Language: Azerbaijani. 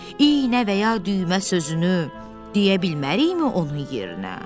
İynə və ya düymə sözünü deyə bilmərikmi onun yerinə?